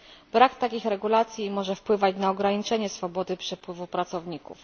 Brak takich regulacji może wpływać na ograniczenie swobody przepływu pracowników.